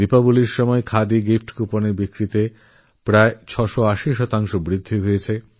দীপাবলীর সময় খাদি গিফট কুপনের বিক্রিতেপ্রায় ছশো আশি শতাংশ বৃদ্ধি দেখা গিয়েছে